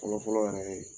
Fɔlɔfɔlɔ yɛrɛ ye